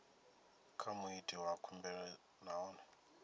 kha muiti wa khumbelo nahone